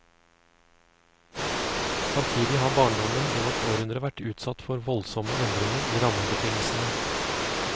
Samtidig har barndommen i vårt århundre vært utsatt for voldsomme endringer i rammebetingelsene.